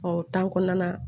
o kɔnɔna na